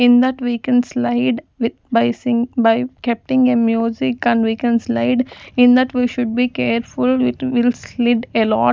in that we can slide with by sing by kepting a music and can we can slide in that we should be careful with will slide a lot.